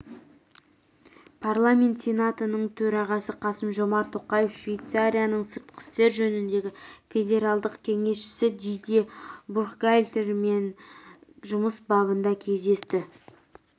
парламент сенатының төрағасы қасым-жомарт тоқаев швейцарияның сыртқы істер жөніндегі федералдық кеңесшісі дидье буркхальтермен жұмыс бабында кездесті